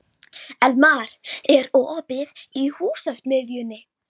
Elmar, er opið í Húsasmiðjunni?